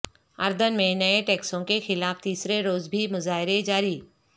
اردن میں نئے ٹیکسوں کے خلاف تیسرے روز بھی مظاہرے جاری